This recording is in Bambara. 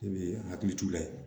Ne bɛ hakili t'u la yen